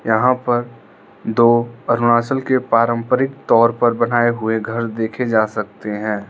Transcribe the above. यहां पर दो अरुणाचल के पारंपरिक तौर पर बनाए हुए घर देखे जा सकते हैं।